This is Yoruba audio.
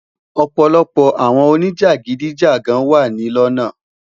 ọpọlọpọ awọn onijagidijagan wa ni lona